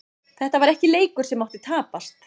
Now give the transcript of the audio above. Þetta var ekki leikur sem mátti tapast.